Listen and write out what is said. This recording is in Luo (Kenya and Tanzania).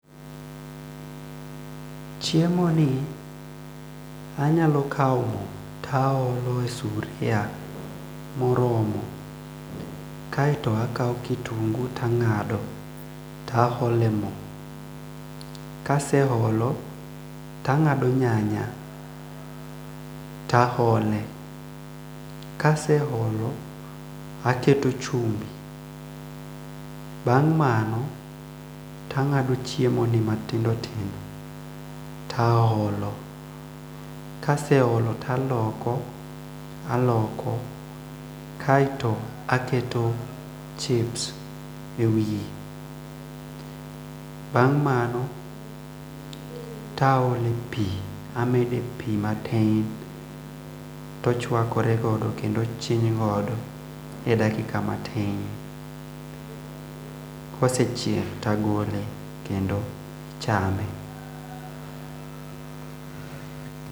Chiemo ni anyalo kao moo taolo e sugria moromo kae to akao kitungu tangado aole moo kaseholo ta ngado nyanya tahole kaseholo taketo chumbi bang' mano tangado chiemo ni tatindotindo taholo kaseholo taloko aloko kae to aketo chips ewiye bang' mano taole pii amede pii matin tochwakore godo kendo ochiny godo e dakika matin kosechiek kedo tagole kondo ichame.